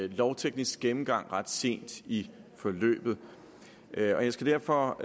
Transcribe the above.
en lovteknisk gennemgang ret sent i forløbet jeg skal derfor